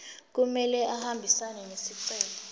kumele ahambisane nesicelo